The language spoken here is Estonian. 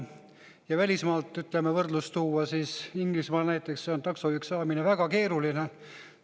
Ja kui välismaalt võrdlus tuua, siis Inglismaal näiteks on taksojuhiks saamine väga keeruline.